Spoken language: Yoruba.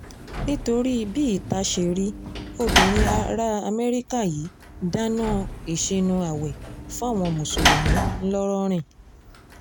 nítorí bí ìta ṣe rí obìnrin ará amẹ́ríkà yìí dáná ìsínú ààwẹ̀ fáwọn mùsùlùmí ńlọ́rìn